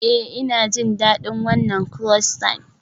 Ee, Ina jin daɗin wannan croissant.